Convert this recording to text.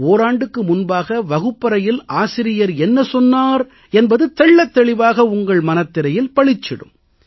ஓராண்டுக்கு முன்பாக வகுப்பறையில் ஆசிரியர் என்ன சொன்னார் என்பது தெள்ளத்தெளிவாக உங்கள் மனத்திரையில் பளிச்சிடும்